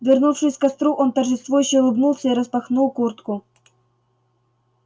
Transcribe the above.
вернувшись к костру он торжествующе улыбнулся и распахнул куртку